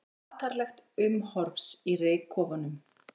Matarlegt umhorfs í reykkofunum